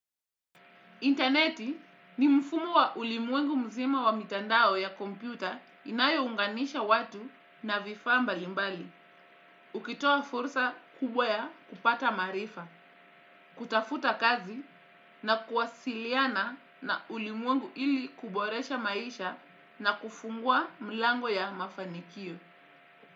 Interneti ni mfumo wa ulimwengu mzima wa mitandao ya kompyuta inayounganisha watu na vifaa mbalimbali. Ukitoa fursa kubwa ya kupata marifa, kutafuta kazi na kuwasiliana na ulimwengu ili kuboresha maisha na kufungua mlango ya mafanikio.